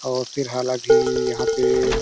और फिर हाल अभी यहाँ पे--